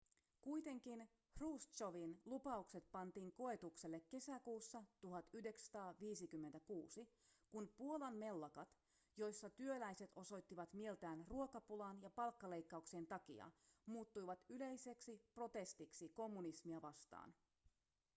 kuitenkin hruštšovin lupaukset pantiin koetukselle kesäkuussa 1956 kun puolan mellakat joissa työläiset osoittivat mieltään ruokapulan ja palkkaleikkauksien takia muuttuivat yleiseksi protestiksi kommunismia vastaan